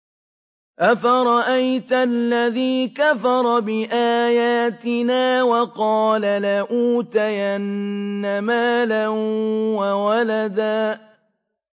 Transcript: أَفَرَأَيْتَ الَّذِي كَفَرَ بِآيَاتِنَا وَقَالَ لَأُوتَيَنَّ مَالًا وَوَلَدًا